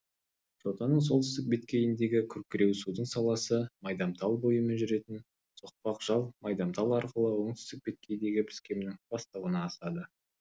жотаның солтүстік беткейіндегі күркіреусудың саласы майдамтал бойымен жүретін соқпақ жал майдамтал арқылы оңтүстік беткейдегі піскемнің бастауына асады